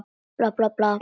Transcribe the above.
Bla, bla, bla.